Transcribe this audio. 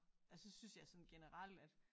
Altså synes jeg sådan generelt at